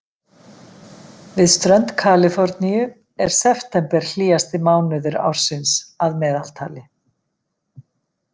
Við strönd Kaliforníu er september hlýjasti mánuður ársins að meðaltali.